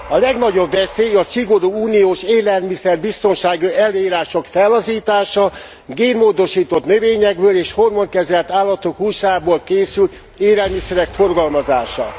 A legnagyobb veszély a szigorú uniós élelmiszerbiztonsági előírások fellazítása, génmódosított növényekből és hormonkezelt állatok húsából készült élelmiszerek forgalmazása.